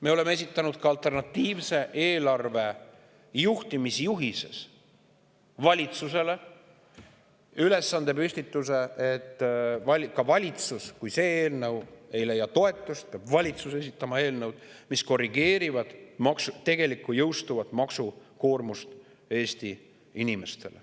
Me oleme esitanud ka alternatiivses eelarves juhtimisjuhise valitsusele, püstitanud ülesande, et kui see eelnõu ei leia toetust, peab valitsus esitama eelnõud, mis korrigeerivad tegelikku Eesti inimestele jõustuvat maksukoormust.